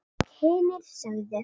Og hinir sögðu: